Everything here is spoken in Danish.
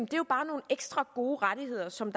jo bare nogle ekstra gode rettigheder som